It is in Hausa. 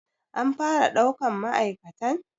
An fara ɗaukan ma'aikatan.